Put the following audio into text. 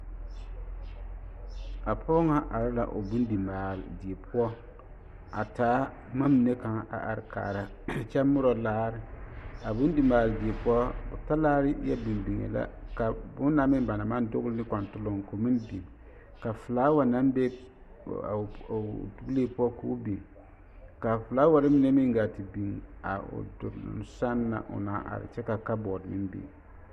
A pɔge ŋa are la o bondi maale die poɔ a taa boma mine kaŋa a are kaara kyɛ morɔ laare, a bondi maale die poɔ talaare yɛ biŋ biŋee la ka bonna meŋ ba naŋ maŋ dogele be kɔntoloŋ k'o meŋ biŋ ka felaawa naŋ be dogelee poɔ k'o meŋ biŋ ka felaawaare mine meŋ gaa te biŋ a o duluŋ sɛŋ na a are kyɛ ka kabɔɔte meŋ biŋ.